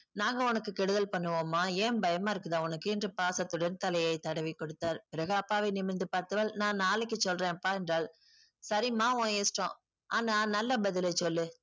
நாங்க உனக்கு கெடுதல் பண்ணுவோமா ஏன் பயமா இருக்குதா உனக்கு என்று பாசத்துடன் தலையை தடவிக்கொடுத்தார் பிறகு அப்பாவை நிமிர்ந்து பார்த்தவள் நான் நாளைக்கு சொல்றேன்ப்பா என்றால் சரிம்மா உன் இஷ்டம் ஆனா நல்ல பதிலை சொல்லு